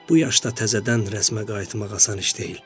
Bu yaşda təzədən rəsmə qayıtmaq asan iş deyil.